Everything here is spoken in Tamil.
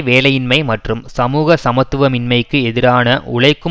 வேலையின்மை மற்றும் சமூக சமத்துவமின்மைக்கு எதிரான உழைக்கும்